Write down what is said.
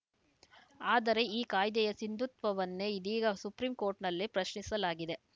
ಆದರೆ ಈ ಕಾಯ್ದೆಯ ಸಿಂಧುತ್ವವನ್ನೇ ಇದೀಗ ಸುಪ್ರೀಂ ಕೋರ್ಟ್‌ನಲ್ಲಿ ಪ್ರಶ್ನಿಸಲಾಗಿದೆ